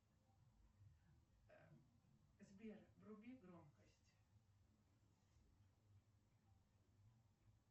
сбер вруби громкость